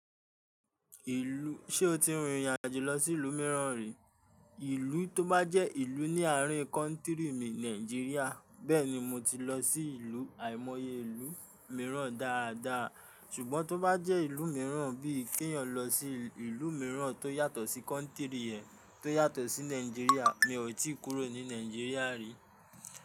Ìlú, ṣe o ti rìnrìn àjò lọ sí ìlú mìíràn rí? Ìlú tó bá jẹ́ ìlú ní àárín kọ́ntírì mi Nàìjíríà, bẹ́ẹ̀ ni mo ti lọ sí ìlú, àìmọye ìlú mìíràn dáadáa. Ṣùgbọ́n tó bá jẹ́ ìlú mìíràn bí i kí èèyàn lọ sí ìlú mìíràn tó yàtọ̀ sí kọ́ntírì ẹ, tó yàtọ̀ sí Nàìjíríà, mi ò tí kúrò ní Nàìjíríà rí.